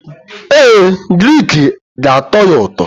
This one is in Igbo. Ee, grik ga-atọ ya ụtọ.